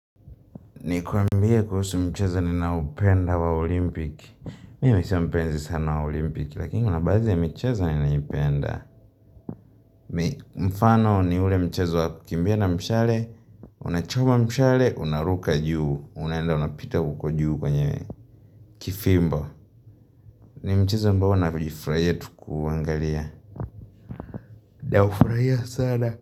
Nikuambie kuhusu mchezo ninaopenda wa olimpiki. Mimi sio mpenzi sana wa olimpiki Lakini kuna baadhi ya mchezo ninayopenda Mfano ni ule mchezo wa kukimbia na mshale Unachoma mshale, unaruka juu Unaenda unapita huko juu kwenye kifimbo ni mchezo ambao nafurahia tu kuangalia. Naufurahia sana.